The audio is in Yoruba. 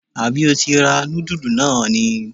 Àbí o ti ra nudulú náà ni??